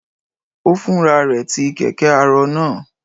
Ó Fúnra rẹ tí kẹ̀kẹ́-arọ náà?